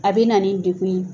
A bɛ na nin degun ye.